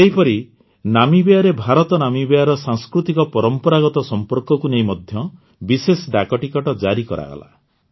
ସେହିପରି ନାମିବିୟାରେ ଭାରତନାମିବିୟାର ସାଂସ୍କୃତିକପରମ୍ପରାଗତ ସମ୍ପର୍କକୁ ନେଇ ବିଶେଷ ଡାକଟିକଟ ଜାରି କରାଗଲା